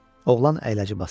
Oğlan əyləci basdı.